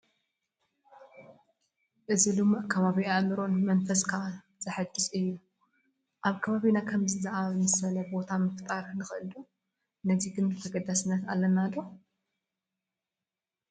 እዚ ልሙዕ ከባቢ ኣእምሮን መንፈስን ዘሕድስ እዩ፡፡ ኣብ ከባቢና ከምዚ ዝኣምሰለ ቦታ ምፍጣር ንኽእል ኢና፡፡ ነዚ ግን ተገዳስነት ኣለና ዶ?